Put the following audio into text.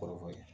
Kɔrɔfɔ ye